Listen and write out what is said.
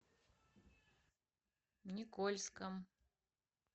никольском